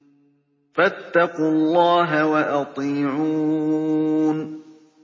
فَاتَّقُوا اللَّهَ وَأَطِيعُونِ